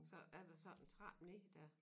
Så er der sådan en trappe ned dér